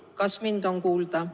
Kas mind on kuulda?